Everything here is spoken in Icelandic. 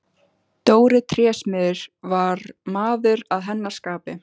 Dóri trésmiður var maður að hennar skapi.